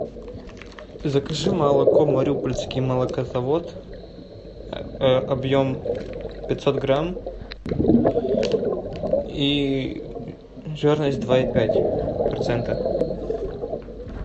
закажи молоко мариупольский молокозавод объем пятьсот грамм и жирность два и пять процента